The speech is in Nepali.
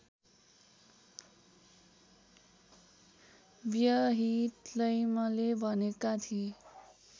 व्यहिटलैमले भनेका थिए